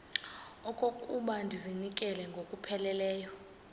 okokuba ndizinikele ngokupheleleyo